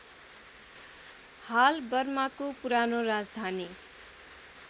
हाल बर्माको पुरानो राजधानी